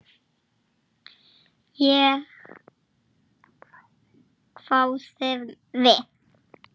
Enn fengu bæði liðin par.